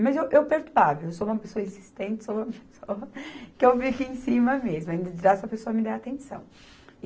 Mas eu, eu perturbava, eu sou uma pessoa insistente, sou uma pessoa que eu fico aqui em cima mesmo, ainda dirá se a pessoa me der atenção.